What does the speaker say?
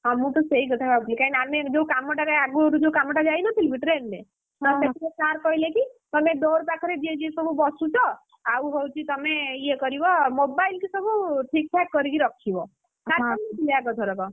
ହଁ ମୁଁ ସେଇ କଥା ଭାବୁଥିଲି ଆମେ ଯୋଉ କାମଟାରେ ଆଗରୁ ଯୋଉ କାମଟା ଯାଇ ନଥିଲୁ କି train ରେ, ସେଦିନ sir କହିଲେ କି ତମେ door ପାଖରେ ଯିଏ ଯିଏ ସବୁ ବସୁଛ ଆଉ ହଉଛି ତମେ ଇଏ କରିବ mobile କି ସବୁ ଠିକ୍ ଠାକ୍‌ କରିକି ରଖିବ।। sir କହିନଥିଲେ ଆଗଥରକ?